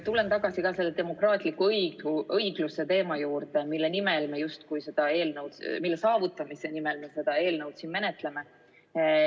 Tulen tagasi selle demokraatliku õigluse teema juurde, mille saavutamise nimel me justkui seda eelnõu siin menetleme.